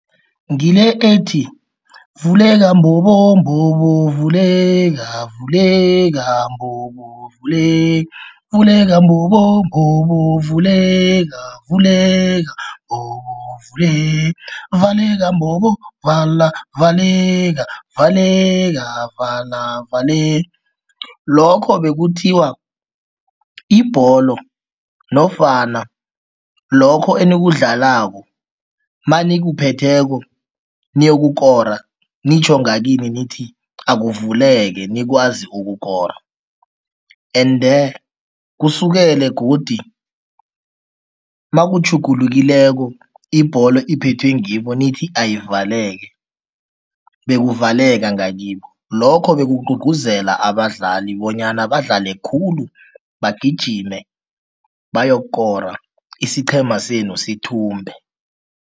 Ngile ethi, vuleka mbobo mbobo vuleka vuleka mbobo vuleka, vuleka mbobo mbobo vuleka vuleka mbobo vuleka, valeka mbobo vala valeka valeka vala lokho bekuthiwa ibholo nofana lokho enikudlalako manikuphetheko niyokukora, nitjho ngakini nithi akuvuleki nikwazi ukukora ende kusukele godi makutjhugulukileko ibholo iphethwe ngibo nithi ayivaleke, bekuvaleka ngakibo. Lokho bekugcugcuzela abadlali bonyana badlale khulu, bagijime bayokukora, isiqhema senu sithumbe.